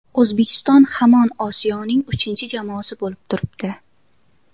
O‘zbekiston hamon Osiyoning uchinchi jamoasi bo‘lib turibdi.